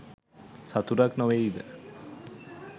සතුටක් නොවෙයිද?